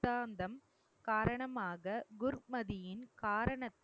சித்தாந்தம் காரணமாக குர்மதியின் காரணத்தை